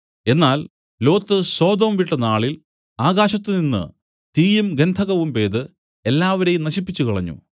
എന്നാൽ Lot Sodom വിട്ട നാളിൽ ആകാശത്തുനിന്ന് തീയും ഗന്ധകവും പെയ്ത് എല്ലാവരെയും നശിപ്പിച്ചുകളഞ്ഞു